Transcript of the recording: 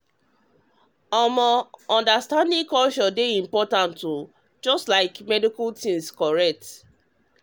um understanding culture dey important like getting medical things correct.